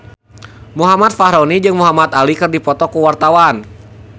Muhammad Fachroni jeung Muhamad Ali keur dipoto ku wartawan